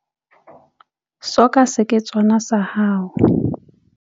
Soka seketswana sa hao.